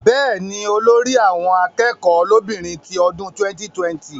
Bẹ́ẹ̀ni, olórí àwọn akẹ́kọ̀ọ́ lóbìnrin ti ọdún 2020